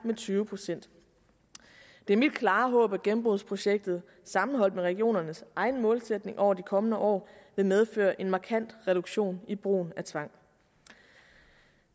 med tyve procent det er mit klare håb at gennembrudsprojektet sammenholdt med regionernes egen målsætning over de kommende år vil medføre en markant reduktion i brugen af tvang